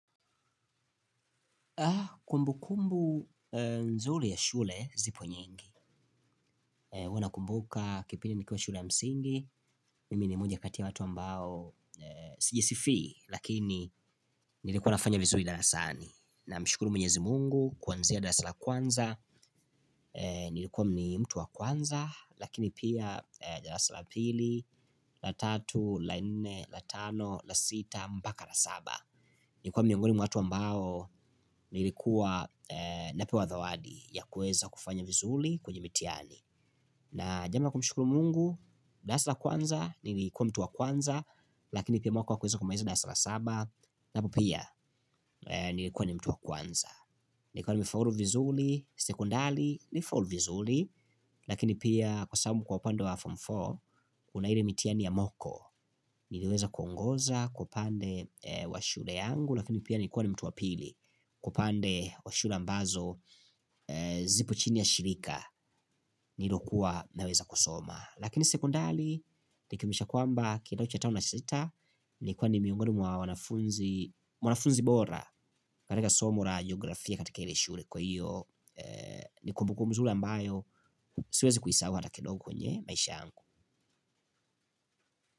Kumbukumbu nzuri ya shule zipo nyingi huwa nakumbuka kipindi nikiwa shule ya msingi. Mimi ni moja kati ya watu ambao sijisifii lakini nilikuwa nafanya vizuri darasani. Namshukuru mwenyezi mungu kuanzia darasa la kwanza nilikuwa ni mtu wa kwanza lakini pia darasa pili la tatu la nne la tano la sita mpaka la saba nilikuwa miongoni mwa watu ambao nilikuwa napewa zawadi ya kuweza kufanya vizuri kwenye mitihani. Na jambo la kumshukuru mungu darasa la kwanza nilikuwa mtu wa kwanza lakini pia mwaka wa kumaliza darasa la saba. Napo pia nilikuwa ni mtu wa kwanza. Nilikuwa nimefaulu vizuli. Sekondali nifaulu vizuli. Lakini pia kwa sabu kwa upande wa Form four una ire mitiani ya moko. Niliweza kuongoza kwa upande wa shule yangu. Lakini pia nilikuwa ni mtu wa pili. Kwa upande wa shule ambazo zipo chini ya shirika. Nilokuwa naweza kusoma. Lakini sekondali. Nikimisha kwamba kidato cha tano na cha sita. Nilikuwa ni miongoni mwa wanafunzi. Mwanafunzi bora katika somo la geografia katika ile shure. Kwa hiyo ni kumbukumbu mzuli ambayo siwezi kuisahau hata kidogo kwenye maisha yangu.